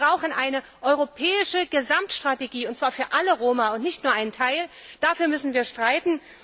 Wir brauchen eine europäische Gesamtstrategie, und zwar für alle Roma und nicht nur einen Teil. Dafür müssen wir streiten.